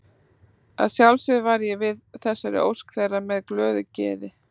Að sjálfsögðu varð ég við þessari ósk þeirra með glöðu geði.